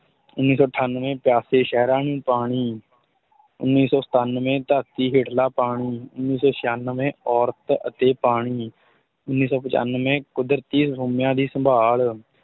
ਉੱਨੀ ਸੌ ਅਠਾਨਵੇਂ ਪਿਆਸੇ ਸਹਿਰਾਂ ਨੂੰ ਪਾਣੀ ਉੱਨੀ ਸੌ ਸਤਾਨਵੇਂ ਧਰਤੀ ਹੇਠਲਾ ਪਾਣੀ, ਉੱਨੀ ਸੌ ਛਿਆਨਵੇਂ ਔਰਤ ਅਤੇ ਪਾਣੀ, ਉੱਨੀ ਸੌ ਪਚਾਨਵੇਂ ਕੁਦਰਤੀ ਸੋਮਿਆਂ ਦੀ ਸੰਭਾਲ